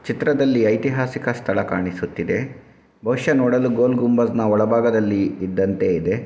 ಈ ಚಿತ್ರದಲ್ಲಿ ಇತಿಹಾಸಿಕ ಸ್ಥಳ ಕಾಣಿಸುತ್ತ ಇದೆ ಬಹುಷಃ ನೋಡಲು ಗೋಲ್ ಗುಂಬಜ್ ನ ಒಳ ಭಾಗದಲ್ಲಿ ಇದ್ದಂತೆ ಇದೆ.